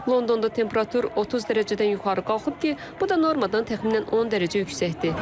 Londonda temperatur 30 dərəcədən yuxarı qalxıb ki, bu da normadan təxminən 10 dərəcə yüksəkdir.